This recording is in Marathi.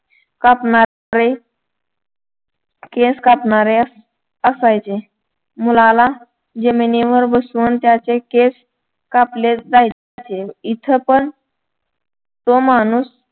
कापणारे केस कापणारे असायचे मुलाला जमिनीवर बसून त्याचे केस कापले जायचे इथं पण तो माणूस